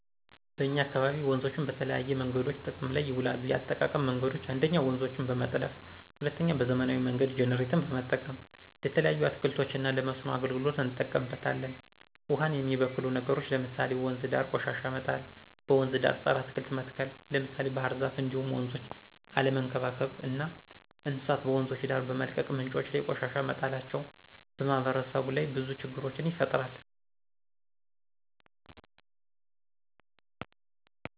በእኛ አካባቢ ወንዞችን በተለያዬ መንገዶች ጥቅም ላይ ይውላሉ የአጠቃቀም መንገዶችም 1ኞ:-ውንዞችን በመጥለፍ 2ኛ:- በዘመናዊ መንገድ ጀነሬተር በመጠቀም። ለተለያዩ አትክልቶች እና ለመስኖ አገልግሎት እንጠቀምበታለን። ውሃን የሚበክሉ ነገሮች ለምሳሌ:- ወንዝ ዳር ቆሻሻ መጣል; በወንዝ ዳር ፀረ አትክልት መትከል ለምሳሌ ባህርዛፍ እንዲሁም ወንዞችን አለመንከባከብ እና እንስሳት በወንዞች ዳር በመልቀቅ ምንጮች ላይ ቆሻሻ መጣላቸው። በማህበረሰቡ ላይ ብዙ ችግሮችን ይፈጥራል